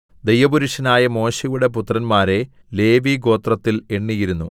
ദൈവപുരുഷനായ മോശെയുടെ പുത്രന്മാരെ ലേവിഗോത്രത്തിൽ എണ്ണിയിരുന്നു